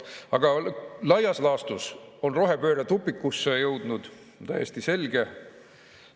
Aga laias laastus on rohepööre tupikusse jõudnud, täiesti selge.